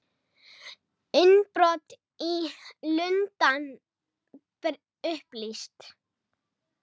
Innbrot í Lundann upplýst